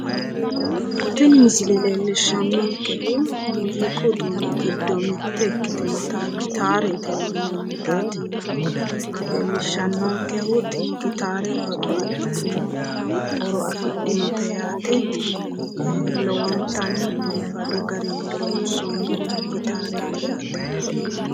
tini misile leellishshannonkehu muziiqu uduunnichi giddo mitte ikkitinota gitaarete yinannitaati leellishshannonkehu tini gitaare babbaxitino horo afidhinote yaate lowontanni biifadu garinni loonsoonni gitaareeti yaate.